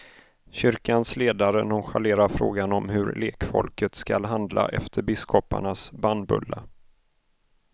Kyrkans ledare nonchalerar frågan om hur lekfolket skall handla efter biskoparnas bannbulla.